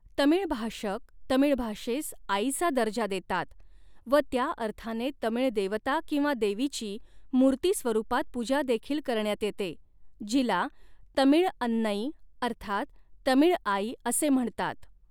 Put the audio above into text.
तमिळ भाषक तमिळ भाषेस आईचा दर्जा देतात व त्या अर्थाने तमिळ देवता किंवा देवीची मूर्तीस्वरूपात पूजा देखील करण्यात येते जीला तमिळअन्नै अर्थात तमिळ आई असे म्हणतात.